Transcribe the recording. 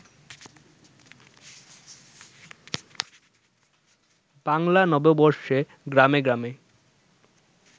বাংলা নববর্ষে গ্রামে গ্রামে